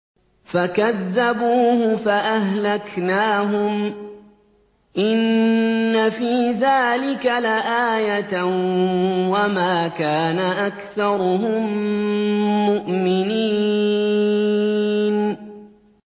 فَكَذَّبُوهُ فَأَهْلَكْنَاهُمْ ۗ إِنَّ فِي ذَٰلِكَ لَآيَةً ۖ وَمَا كَانَ أَكْثَرُهُم مُّؤْمِنِينَ